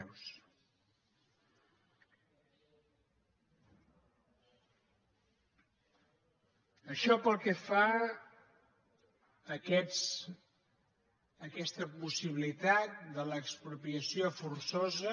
això pel que fa a aquesta possibilitat de l’expropiació forçosa